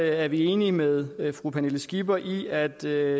er vi enige med fru pernille skipper i at det